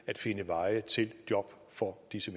at finde veje til job for disse